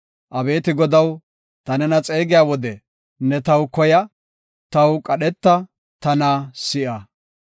Abeeti Godaw, ta nena xeegiya wode ne taw koya; taw qadheta; tana si7a.